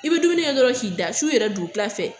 I bɛ dumuni kɛ dɔrɔn k'i da su yɛrɛ dugutila fɛ